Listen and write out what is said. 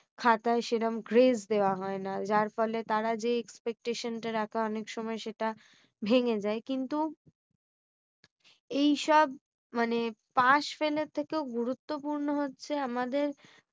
খাতায় সেরম grace দেওয়া হয় না। যার ফলে তারা যে expectation টা রাখে অনেক সময় সেটা ভেঙে যায়। কিন্তু এইসব মানে pass fail এর থেকেও গুরুত্বপূর্ণ হচ্ছে আমাদের